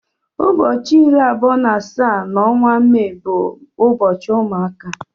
Ụbọchị iri abụọ na asaa na onwa Mee bụ ụbọchị ụmụaka.